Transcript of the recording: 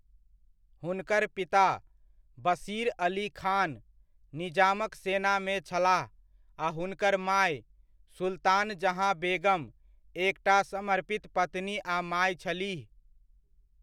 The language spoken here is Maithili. हुनकर पिता, बशीर अली खान, निजामक सेना मे छलाह आ हुनकर माय, सुल्तान जहाँ बेगम एकटा समर्पित पत्नी आ माय छलीह।